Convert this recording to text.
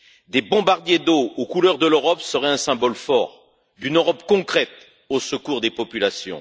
Des bombardiers d'eau aux couleurs de l'Europe seraient un symbole fort d'une Europe concrète, au secours des populations.